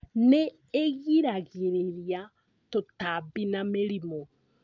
Nĩ giragĩrĩria tũtambi na mĩrimũ